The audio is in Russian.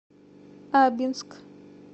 абинск